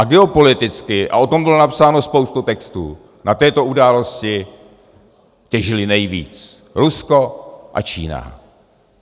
A geopoliticky, a o tom byla napsána spousta textů, z této události těžili nejvíc Rusko a Čína.